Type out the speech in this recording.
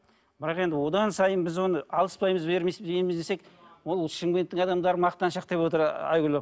бірақ енді одан сайын біз оны алыспаймыз беріспейміз десек ол шымкенттің адамдары мақтаншақ деп отыр айгүл апа